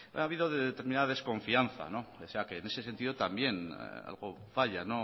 ha habido determinada desconfianza pese a que en ese sentido también algo falla